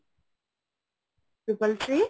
triple three